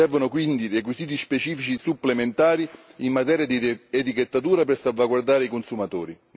Servono quindi requisiti specifici supplementari in materia di etichettatura per salvaguardare i consumatori.